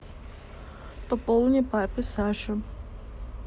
пополни папе саше